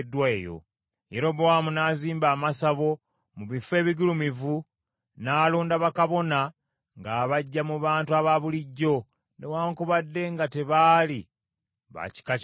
Yerobowaamu n’azimba amasabo mu bifo ebigulumivu n’alonda bakabona ng’abaggya mu bantu abaabulijjo, newaakubadde nga tebaali ba kika kya Leevi.